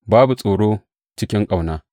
Babu tsoro cikin ƙauna.